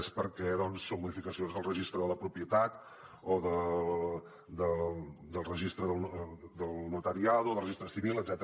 és perquè són modificacions del registre de la propietat o del registre del notariado o del registre civil etcètera